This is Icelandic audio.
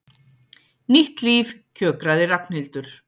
Nýtt líf, kjökraði Ragnhildur.